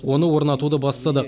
оны орнатуды бастадық